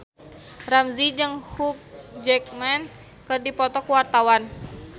Ramzy jeung Hugh Jackman keur dipoto ku wartawan